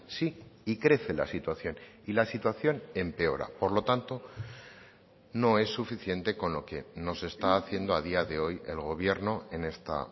sí y crece la situación y la situación empeora por lo tanto no es suficiente con lo que nos está haciendo a día de hoy el gobierno en esta